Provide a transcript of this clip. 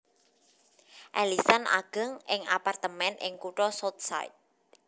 Ellison ageng ing apartemén ing kutha South Side